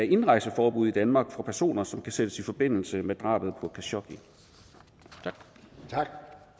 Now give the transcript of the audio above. indrejseforbud i danmark for personer som kan sættes i forbindelse med drabet på khashoggi tak